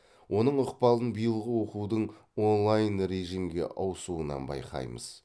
оның ықпалын биылғы оқудың онлайн режимге ауысуынан байқаймыз